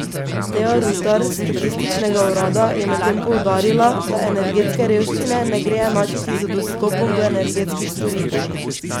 Teja Rutar s statističnega urada je medtem poudarila, da energetske revščine ne gre enačiti z dostopom do energetskih storitev.